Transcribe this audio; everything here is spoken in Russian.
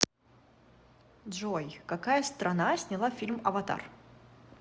джой какая страна сняла фильм аватар